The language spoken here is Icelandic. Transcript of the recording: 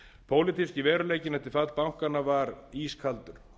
pólitíski veruleikinn eftir fall bankanna var ískaldur